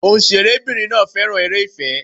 Òǹṣẹ̀rẹ́ bìnrin náà féràn eré ìfẹ́.